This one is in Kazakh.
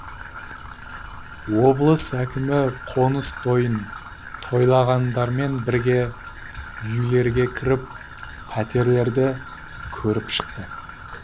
облыс әкімі қоныс тойын тойлағандармен бірге үйлерге кіріп пәтерлерді көріп шықты